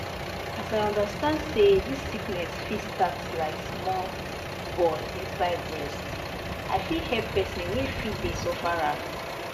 as i understand say dis sickness fit start like small ball inside breast i fit help pesin wey fit dey suffer am.